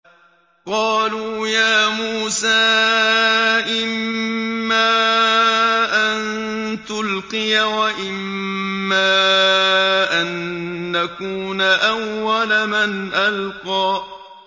قَالُوا يَا مُوسَىٰ إِمَّا أَن تُلْقِيَ وَإِمَّا أَن نَّكُونَ أَوَّلَ مَنْ أَلْقَىٰ